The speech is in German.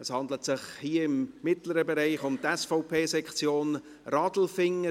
Es handelt sich, hier im mittleren Bereich, um die SVP-Sektion Radelfingen.